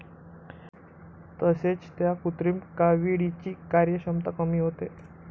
तसेच त्या कृत्रिम काविळीची कार्यक्षमता कमी होते.